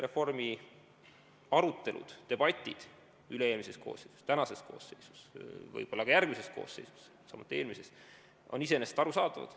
Reformi arutelud, debatid üle-eelmises koosseisus, tänases koosseisus, võib-olla ka järgmises koosseisus, samuti eelmises, on iseenesest arusaadavad.